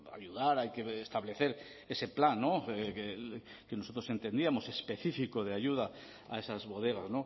ayudar hay que establecer ese plan que nosotros entendíamos específico de ayuda a esas bodegas